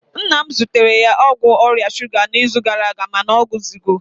nna m zụtara ya ọgwụ ọrịa shuga n'izu gara aga mana ọ kwụzigo